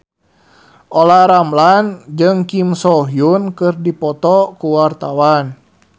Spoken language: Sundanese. Olla Ramlan jeung Kim So Hyun keur dipoto ku wartawan